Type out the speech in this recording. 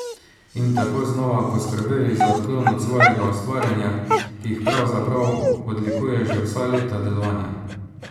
In tako znova poskrbeli za odklon od svojega ustvarjanja, ki jih pravzaprav odlikuje že vsa leta delovanja.